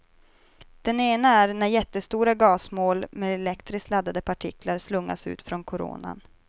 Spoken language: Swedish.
Den ena är när jättestora gasmoln med elektriskt laddade partiklar slungas ut från koronan.